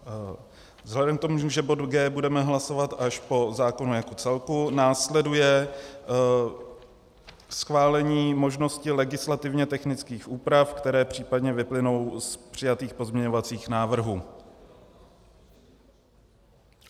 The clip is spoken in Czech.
Vzhledem k tomu, že bod G budeme hlasovat až po zákonu jako celku, následuje schválení možnosti legislativně technických úprav, které případně vyplynou z přijatých pozměňovacích návrhů.